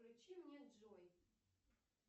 включи мне джой